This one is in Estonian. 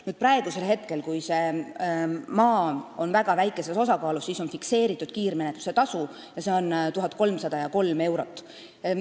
Nüüd on juhul, kui selle maa osakaal on väga väike, fikseeritud kiirmenetluse tasu, mis on 1303 eurot.